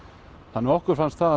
þannig að okkur fannst það